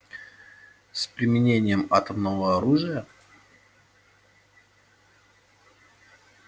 с применением атомного оружия